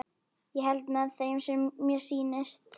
Ég held með þeim sem mér sýnist!